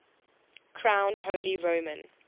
crowned holy roman